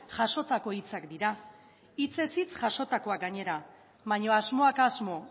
jasotako hitzak dira hitzez hitz jasotakoak gainera baina asmoak asmo